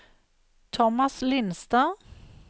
Tomas Lindstad